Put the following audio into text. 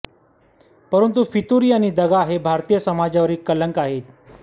परंतु फितुरी आणि दगा हे भारतीय समाजावरील कलंक आहेत